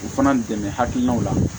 U fana dɛmɛ hakilinaw la